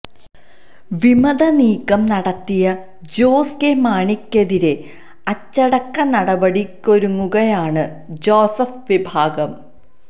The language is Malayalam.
വിമത നീക്കം നടത്തിയ ജോസ് കെ മാണിക്കെതിരെ അച്ചടക്ക നടപടിക്കൊരുങ്ങുകയാണ് ജോസഫ് വിഭാഗം